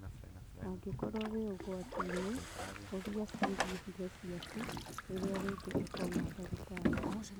Angĩkorwo wĩ ũgwati-inĩ, ũria ciĩgiĩ higo ciaku rĩrĩa rĩngĩ ũkona ndagĩtarĩ